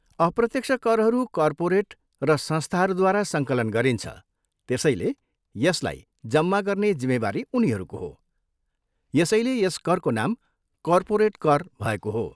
अप्रत्यक्ष करहरू कर्पोरेट र संस्थाहरूद्वारा सङ्कलन गरिन्छ त्यसैले, यसलाई जम्मा गर्ने जिम्मेवारी उनीहरूको हो, यसैले यस करको नाम कर्पोरेट कर भएको हो।